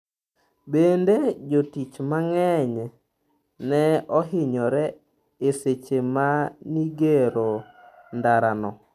Bende, jotich mang'eny ne ohinyore e seche manigero ndara no.